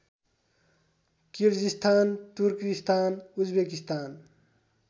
Kyrgyzstan Turkistan Uzbekistan